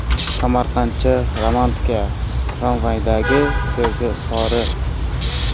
Samarqandcha romantika: Tramvaydagi sevgi izhori .